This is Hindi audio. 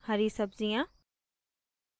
हरी सब्ज़ियाँ